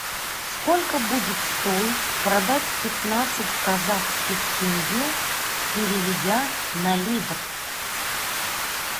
сколько будет стоить продать пятнадцать казахских тенге переведя на ливр